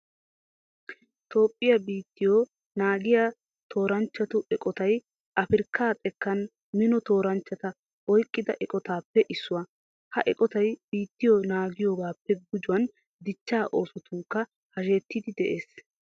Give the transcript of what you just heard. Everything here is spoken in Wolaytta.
Toophphiya biittiyo naagiya tooranchchatu eqotay afirkkaa xekkan mino tooranchchata oyqida eqotaappe issuwa. Ha eqotay biittiyo naagiyogaappe gujuwan dichchaa oosotunkka hashetiiddi de'ees.